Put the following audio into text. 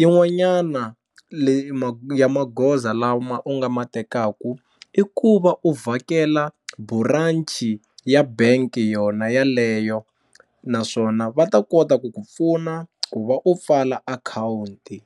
yin'wanyana ya magoza magoza lama u nga ma tekaku i ku va u vhakela buranchi ya bank yona yaleyo naswona va ta kota ku ku pfuna ku va u pfala akhawunti.